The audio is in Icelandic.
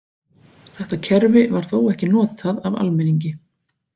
Þetta kerfi var þó ekki notað af almenningi.